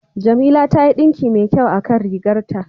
Jamila ta yi ɗinki mai kyau a kan rigar ta.